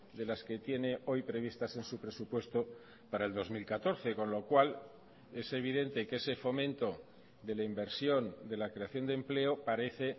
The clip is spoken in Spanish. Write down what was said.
de las que tiene hoy previstas en su presupuesto para el dos mil catorce con lo cual es evidente que ese fomento de la inversión de la creación de empleo parece